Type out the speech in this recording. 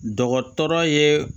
Dɔgɔtɔrɔ ye